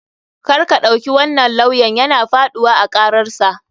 KArka ɗauki wannan lawyan yana faɗuwa a kararsa.